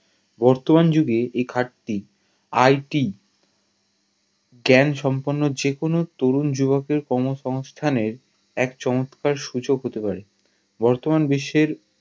বর্তমান যুগে এই কাজ টি IT জ্ঞান সম্পন্ন যে কোনো তরুণ যুবকের কর্ম সংস্থানের এক চমৎকার সূচক হতে পারে বর্তমান বিশ্বের